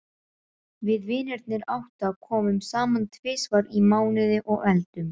Við vinirnir átta komum saman tvisvar í mánuði og eldum.